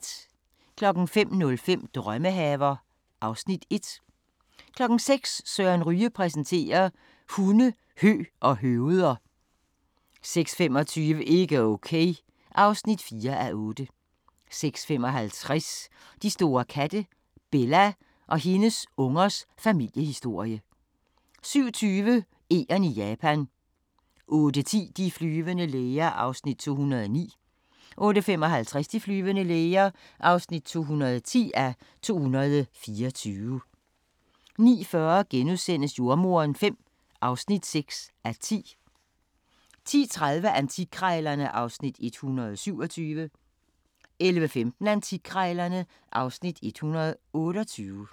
05:05: Drømmehaver (Afs. 1) 06:00: Søren Ryge præsenterer: Hunde, hø og høveder 06:25: Ikke Okay (4:8) 06:55: De store katte – Bella og hendes ungers familiehistorie 07:20: Egern i Japan 08:10: De flyvende læger (209:224) 08:55: De flyvende læger (210:224) 09:40: Jordemoderen V (6:10)* 10:30: Antikkrejlerne (Afs. 127) 11:15: Antikkrejlerne (Afs. 128)